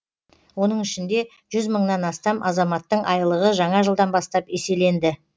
оның ішінде жүз мыңнан астам азаматтың айлығы жаңа жылдан бастап еселенді